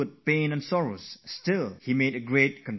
Despite that, he gave a lot to this world before passing away